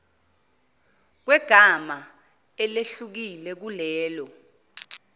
kwegama elehlukile kulelo